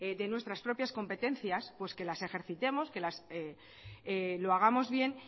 de nuestras propias competencias pues que las ejercitemos que lo hagamos bien